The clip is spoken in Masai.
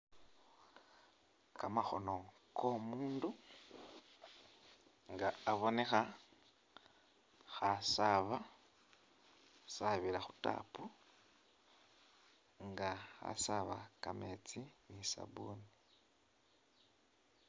Kamakhono ko'omundu nga abonekha kha'asaaba, khasabila khu tap nga nga khasaaba kameetsi ni sabuni.